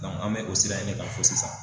An bɛ o sira in de kan fo sisan.